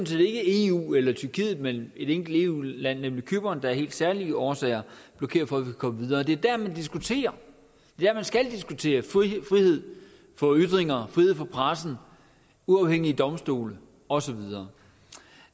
set ikke eu eller tyrkiet men et enkelt eu land nemlig cypern der af helt særlige årsager blokerer for at vi kan komme videre det er der man diskuterer ja man skal diskutere frihed for ytringer frihed for presse uafhængige domstole og så videre